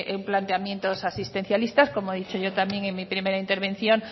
los planteamientos asistencialistas como he dicho yo también en mi primera intervención